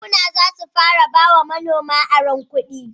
Bankuna zasu fara ba wa manoma aron kudi